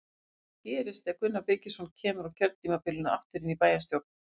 Heimir: Hvað gerist ef að Gunnar Birgisson kemur á kjörtímabilinu aftur inn í bæjarstjórn?